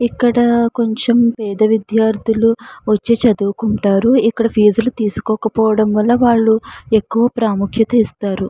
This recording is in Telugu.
ఇక్కడ కొంచెం పేద విద్యార్థులు వచ్చి చదువుకుంటారు. ఇక్కడ ఫీజు లు తీసుకోవడం తీసుకోకపోవడం వల్ల వాళ్లు ఎక్కువ ప్రాముఖ్యత ఇస్తారు.